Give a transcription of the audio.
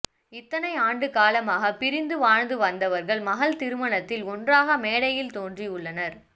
இத்தனை ஆண்டு காலமாக பிரிந்து வாழந்து வந்தவர்கள் மகள் திருமணத்தில் ஒன்றாக மேடையில் தோன்றி உள்ளனர்